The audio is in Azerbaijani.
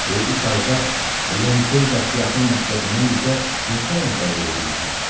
Bu üç ayda Lentul Bateatın məktəbindən bizə neçə adam cəlb eləyə bilmisən?